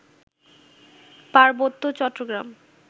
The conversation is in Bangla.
পার্বত্য চট্টগ্রাম